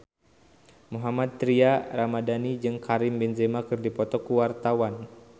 Mohammad Tria Ramadhani jeung Karim Benzema keur dipoto ku wartawan